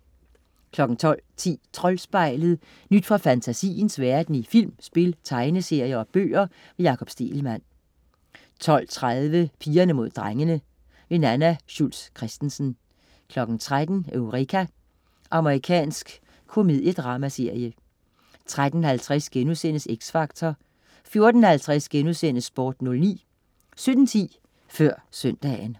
12.10 Troldspejlet. Nyt fra fantasiens verden i film, spil, tegneserier og bøger. Jakob Stegelmann 12.30 Pigerne mod drengene. Nanna Schultz Christensen 13.00 Eureka. Amerikansk komediedramaserie 13.50 X Factor* 14.50 Sport09* 17.10 Før søndagen